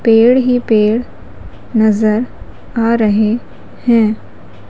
पेड़ ही पेड़ नजर आ रहे हैं।